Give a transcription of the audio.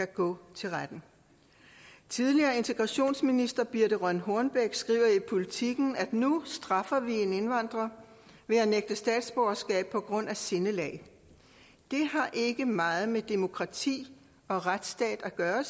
gå til retten tidligere integrationsminister birthe rønn hornbech skriver i politiken at vi nu straffer en indvandrer ved at nægte ham statsborgerskab på grund af sindelag det har ikke meget med demokrati og retsstat at gøre